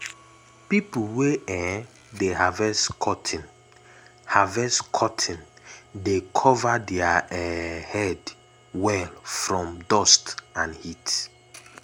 pipo wey um dey harvest cotton harvest cotton dey cover their um head well from dust and heat. um